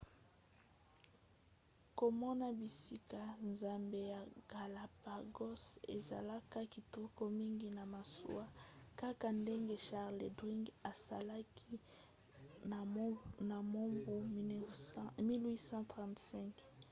komona bisika zamba ya galapagos ezalaka kitoko mingi na masuwa kaka ndenge charles darwin asalaki na mobu 1835